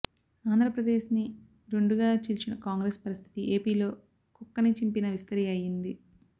ఆంధ్రప్రదేశ్ ని రెండు గా చీల్చిన కాంగ్రెస్ పరిస్థితి ఏపీలో కుక్కని చింపిన విస్తరి అయ్యింది